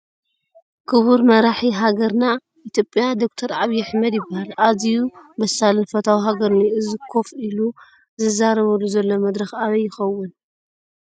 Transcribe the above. ክቡር መራሒ ሓገርና ኢ/ያ ዶ/ር ዓብይ ኣሕመድ ይበሃል ኣዚዩ በሳልን ፈታዊ ሐገሩን እዩ ፡ እዚ ከፍ ኢሉ ዝዛረበሉ ዘሎ መድረኽ ኣበይ ይኸውን ?